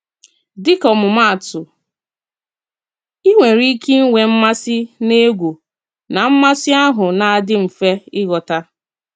Díkà ọmụmaatụ, ị nwere ike ịnwe mmasị na egwú, na mmasị ahụ nā-adị mfe ịghọta.